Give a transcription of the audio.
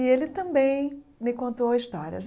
E ele também me contou histórias.